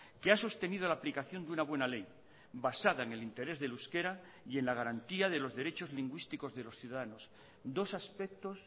que ha sostenido la aplicación de una buena ley basada en el interés del euskera y en la garantía de los derechos lingüísticos de los ciudadanos dos aspectos